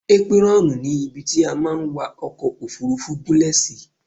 Épírọ́ọ̀nù ni ibi tí a máa ń wa ọkọ̀-òfurufú gúnlẹ̀ sí.